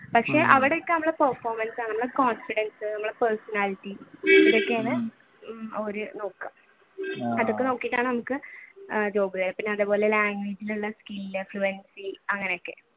പക്ഷെ അവിടെയൊക്കെ നമ്മുടെ performance ആണ് നമ്മുടെ confidence നമ്മുടെ personality അവർ നോക്കുക അതൊക്കെ നോക്കിയിട്ടാണ്. അങ്ങനെയൊക്കെ